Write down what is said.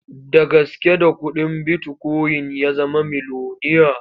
Da gaske da kuɗin bitikoyin ya zama miloniya.